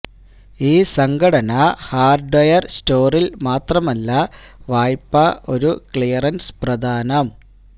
ഈ സംഘടന ഹാർഡ്വെയർ സ്റ്റോറിൽ മാത്രമല്ല വായ്പ ഒരു ക്ലിയറൻസ് പ്രദാനം